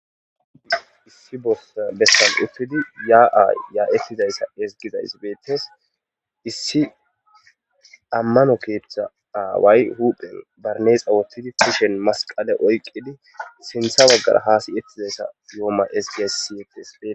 Issi besanni uttidi ya'ayi ya'etidayiss ezigizayiss betees .issi ammono keththa awayi huphphenni barinasse wothiddi kushshenni masiqalee oyikkidi sinththe bagara hasayetizayiss yomma ezigess ,siyetees